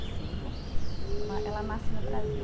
E cinco né. Ela nasce no Brasil.